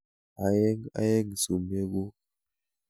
Aeng' aeng' sumekuk.